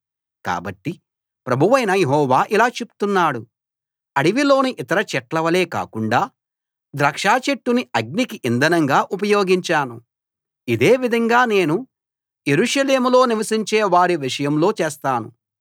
కాబట్టి ప్రభువైన యెహోవా ఇలా చెప్తున్నాడు అడవిలోని ఇతర చెట్లవలే కాకుండా ద్రాక్ష చెట్టుని అగ్నికి ఇంధనంగా ఉపయోగించాను ఇదే విధంగా నేను యెరూషలేములో నివసించే వారి విషయంలో చేస్తాను